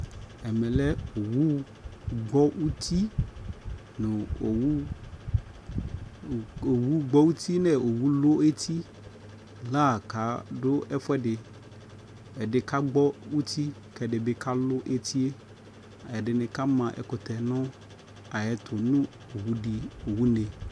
Ɛmɛ lɛ owu gbɔ uti nʋ owu gbɔ uti nʋ owu lʋ eti la kadu ɛfʋɛdi Ɛdi kagbɔ uti, kɛdi bi kalʋ eti e Ɛdini kama ɛkʋtɛ nʋ ayɛtʋ nʋ owu di owu ne